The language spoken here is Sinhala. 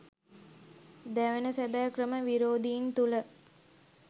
දැවෙන සැබෑ ක්‍රම විරෝධීන් තුළ